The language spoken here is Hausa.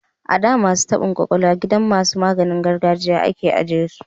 A da, masu taban kwakwalwa gidan masu maganin gargajiya a ke ajiye su